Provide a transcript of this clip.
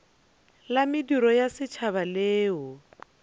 la mediro ya setšhaba leo